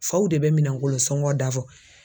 Faw de bɛ minankolon sɔngɔ da fɔ